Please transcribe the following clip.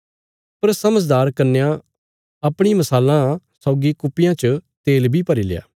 पर समझदार कन्यां अपणी मशालां सौगी कुप्पियां च तेल बी भरील्या